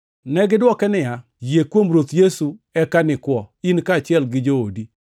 Negidwoke niya, “Yie kuom Ruoth Yesu eka nikwo, in kaachiel gi joodi.”